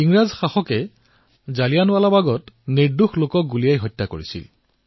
ইংৰাজী শাসকসকলে জালিয়ানাৱালাৱাগত বহু নিৰ্দোষ লোকক হত্যা কৰিছিল